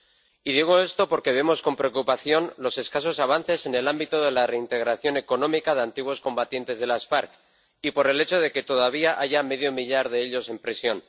Y digo esto porque vemos con preocupación los escasos avances en el ámbito de la reintegración económica de antiguos combatientes de las FARC y por el hecho de que todavía haya medio millar de ellos en prisión.